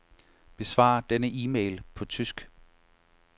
Besvar denne e-mail på tysk.